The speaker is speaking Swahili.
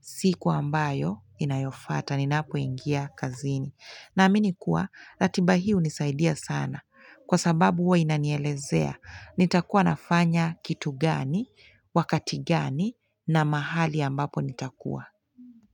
Siku ambayo inayofata. Ninapoingia kazini. Naamini kuwa ratiba hiyo hunisaidia sana. Kwa sababu huwa inanielezea. Nitakuwa nafanya kitu gani, wakati gani na mahali ambapo nitakuwa.